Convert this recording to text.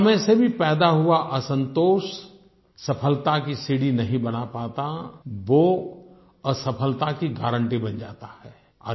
सफलता में से भी पैदा हुआ असंतोष सफलता की सीढ़ी नही बना पाता वो असफलता की गारंटी बन जाता है